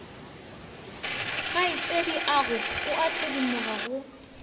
kgaetšediago o a thedimoga go